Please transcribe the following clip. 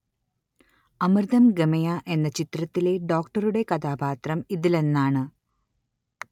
അമൃതം‌ ഗമയ എന്ന ചിത്രത്തിലെ ഡോക്ടറുടെ കഥാപാത്രം ഇതിലൊന്നാണ്